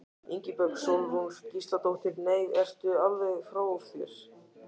Ingibjörg Sólrún Gísladóttir: Nei, ertu alveg frá þér?